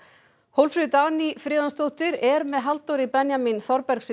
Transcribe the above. Hólmfríður Dagný Friðjónsdóttir er með Halldóri Benjamín